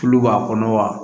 Tulu b'a kɔnɔ wa